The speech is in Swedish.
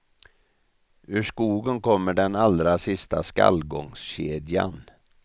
Ur skogen kommer den allra sista skallgångskedjan.